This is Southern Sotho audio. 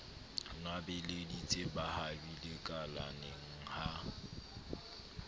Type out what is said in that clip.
nwabeleditse ba habile kalaneng ha